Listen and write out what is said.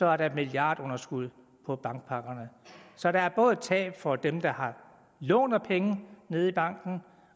er der et milliardunderskud på bankpakkerne så der er både tab for dem der låner penge nede i banken